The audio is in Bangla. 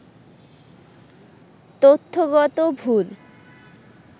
তথ্যগত ভুল